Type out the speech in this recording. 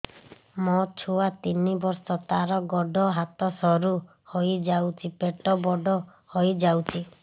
ମୋ ଛୁଆ ତିନି ବର୍ଷ ତାର ଗୋଡ ହାତ ସରୁ ହୋଇଯାଉଛି ପେଟ ବଡ ହୋଇ ଯାଉଛି